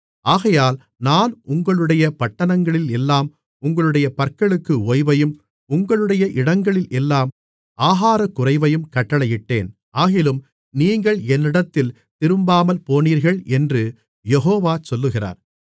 ஆகையால் நான் உங்களுடைய பட்டணங்களில் எல்லாம் உங்களுடைய பற்களுக்கு ஓய்வையும் உங்களுடைய இடங்களில் எல்லாம் ஆகாரக்குறைவையும் கட்டளையிட்டேன் ஆகிலும் நீங்கள் என்னிடத்தில் திரும்பாமல்போனீர்கள் என்று யெகோவா சொல்லுகிறார்